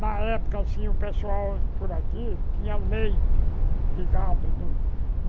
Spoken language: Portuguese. Na época, assim, o pessoal por aqui tinha leite de gado do